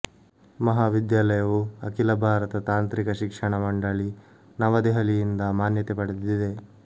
ಮಹಾವಿದ್ಯಾಲಯವು ಅಖಿಲ ಭಾರತ ತಾಂತ್ರಿಕ ಶಿಕ್ಷಣ ಮಂಡಳಿ ನವದೆಹಲಿಯಿಂದ ಮಾನ್ಯತೆ ಪಡೆದಿದೆ